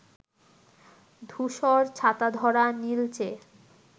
ধূসর ছাতাধরা নীলচে